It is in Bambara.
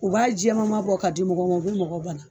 U b'a jɛmanma bɔ ka di mɔgɔw ma o bɛ mɔgɔ bana